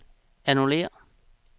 annullér